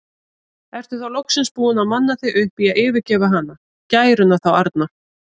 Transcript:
Ertu þá loksins búinn að manna þig upp í að yfirgefa hana, gæruna þá arna?